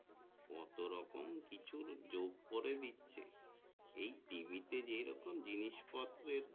কত রকম কিছু যোগ করে দিচ্ছে এই টিভিতে যে রকম জিনিসপত্রের